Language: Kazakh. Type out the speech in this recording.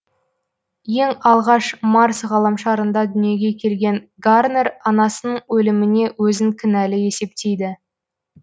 ең алғаш марс ғаламшарында дүниеге келген гарнер анасының өліміне өзін кінәлі есептейді